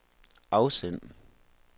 afsend